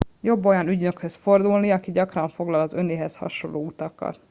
jobb olyan ügynökhöz fordulni aki gyakran foglal az önéhez hasonló utakat